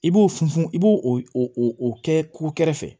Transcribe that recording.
I b'o funfun i b'o o kɛ kukɛrɛfɛ fɛ